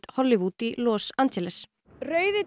Hollywood í Los Angeles rauði